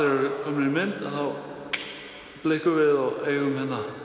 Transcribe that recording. eru komnir í mynd þá blikkum við og eigum